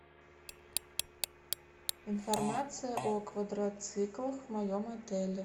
информация о квадроциклах в моем отеле